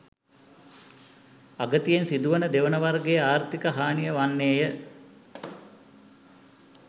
අගතියෙන් සිදුවන දෙවන වර්ගයේ ආර්ථික හානිය වන්නේය